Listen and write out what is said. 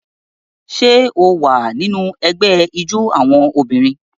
Ṣé o wà nínú ẹgbẹ́ ijó àwọn obìnrin?